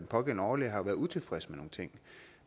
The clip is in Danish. pågældende overlæge har været utilfreds med nogle ting